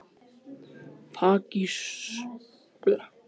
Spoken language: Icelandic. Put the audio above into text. Pakistönskum þingmönnum vísað frá störfum